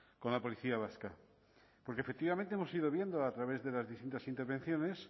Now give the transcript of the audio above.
con la policía vasca porque efectivamente hemos ido viendo a través de las distintas intervenciones